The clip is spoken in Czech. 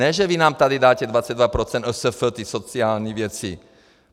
Ne že vy nám tady dáte 22 % OSF, ty sociální věci.